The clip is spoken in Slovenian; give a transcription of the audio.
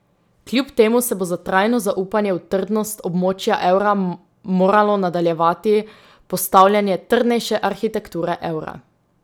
Kljub temu se bo za trajno zaupanje v trdnost območja evra moralo nadaljevati postavljanje trdnejše arhitekture evra.